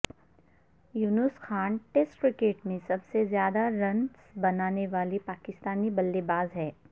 یونس Khan test cricket میں سب سے زیادہ رنز بنانے والے پاکستانی بلے باز ہیں